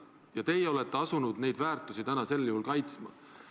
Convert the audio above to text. Ja teie olete sel juhul asunud seda väärtust täna kaitsma.